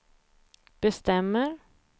bestämmer